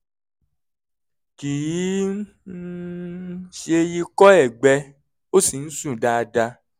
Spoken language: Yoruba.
kì í um ṣe ikọ́ ẹ̀gbẹ ó sì ń sùn dáadáa